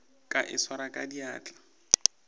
ka e swara ka diatla